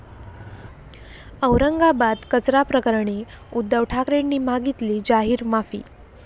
औरंगाबाद कचरा प्रकरणी उद्धव ठाकरेंनी मागितली जाहीर माफी